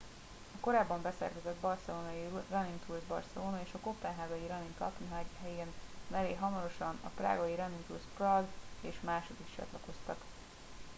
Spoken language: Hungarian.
a korábban beszervezett barcelónai running tours barcelona és a koppenhágai running copenhagen mellé hamarosan a prágai running tours prague és mások is csatlakoztak